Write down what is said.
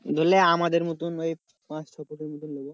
ধরলে আমাদের মতোন ওই পাঁচ ছফুটের মতোন লোবো।